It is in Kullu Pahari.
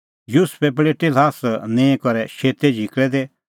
युसुफै पल़ेटी ल्हास निंईं करै शेतै झिकल़ै दी